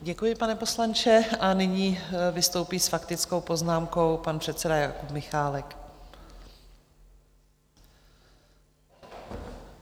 Děkuji, pane poslanče, a nyní vystoupí s faktickou poznámkou pan předseda Jakub Michálek.